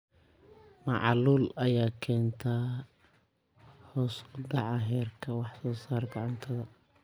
Macaluul ayaa keenta hoos u dhaca heerka wax soo saarka cuntada.